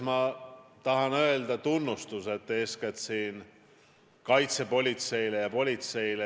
Ma tahan väljendada tunnustust kaitsepolitseile ja politseile.